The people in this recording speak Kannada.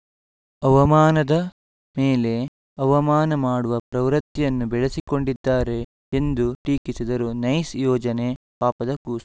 ಅವಮಾನದ ಮೇಲೆ ಅವಮಾನ ಮಾಡುವ ಪ್ರವೃತ್ತಿಯನ್ನು ಬೆಳೆಸಿಕೊಂಡಿದ್ದಾರೆ ಎಂದು ಟೀಕಿಸಿದರು ನೈಸ್‌ ಯೋಜನೆ ಪಾಪದ ಕೂಸು